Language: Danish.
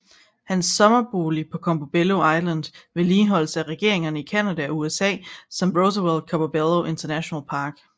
Hans sommerbolig på Campobello Island vedligeholdes af regeringerne i Canada og USA som Roosevelt Campobello International Park